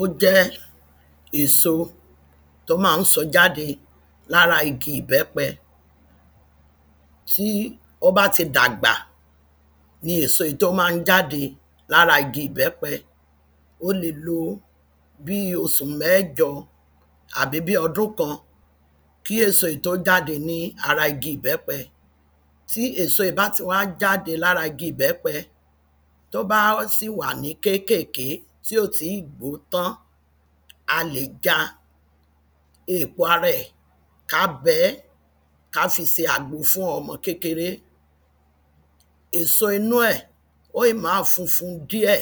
Ó jẹ́ èso tó máa ń so jáde lára igi ìbẹ́pẹ tí ó bá ti dàgbà ni èso yìí tó máa jáde lára igi ìbẹ́pẹ ó le lo bí osù mẹ́jọ àbí ọdún kan kí èso yìí tó jáde lára igi ìbẹ́pẹ tí èso yìí bá ti wá jáde lára igi ìbẹ́pẹ tó bá sì wà ní kékèké tí ò tí ì gbó tán, a lè ja èpo ara ẹ̀ ká bẹẹ́ ká fi ṣe àgbo fún ọmọ kékeré èso inú ẹ̀ ó ì máa funfun díẹ̀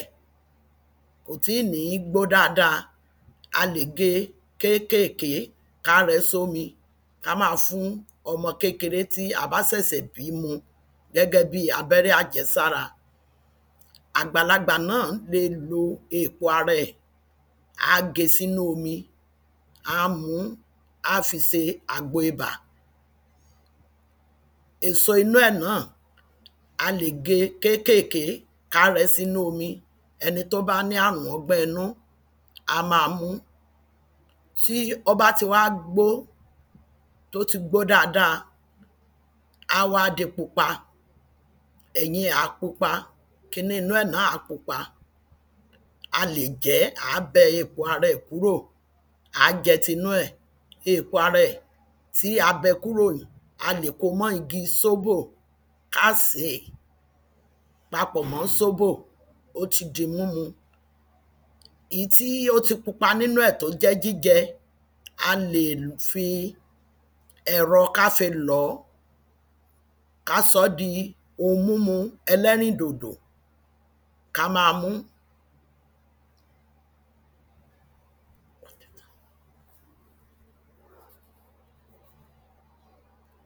kò tí ì ní gbó dáadáa a lè ge kékèké ká rẹẹ́ só mi ká máa fún ọmọ kékeré tí a bá sẹ̀sẹ̀ bí mu gẹ́gẹ́ bí abẹ́rẹ́ àjẹsára àgbàlagbà náà le lo eèpo ara ẹ á ge sí nú omi á muú á fi ṣe àgbo ibà èso inú ẹ̀ náà a lè ge kékèké ká rẹẹ́ sínú omi ẹni tó bá ní ààrùn ọgbẹ́ inú á máa mú tí ó bá ti wá gbó tó ti gbó dáadáa áwá di pupa ẹ̀yìn ẹ̀ á pupa kiní inú ẹ̀ náà á di pupa a lè jẹ́ àá bẹ èpo ara ẹ̀ kúrò àá jẹ́ tinú ẹ̀ èpo ara ẹ̀ tí a bẹ kúrò yìí a lè komọ́ igi sóbò ká sèé papọ̀ mọ́ sóbò ó ti di múmu ì ín tí ó ti pupa nínú ẹ̀ tó jẹ́ jíjẹ a lè fi ẹ̀rọ ká fi lọ̀ọ́ ká sọ́ di ohun múmu ẹlẹ́rin dòdò ká máa mú.